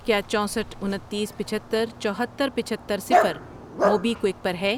کیا چوسٹھ ،انتیس، پچہتر، چوہتر، پچہتر، صفر موبی کوئک پر ہے؟